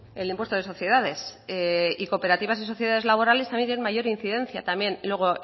el impuesto de sociedades y cooperativas y sociedades laborales también tienen mayor incidencia también luego